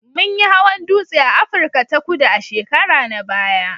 Mun yi hawan dutse a Afirka ta Kudu a shekara na baya